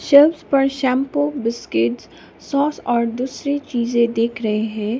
Shelves पर shampoo biscuit sauce और दूसरी चीजें दिख रहे है।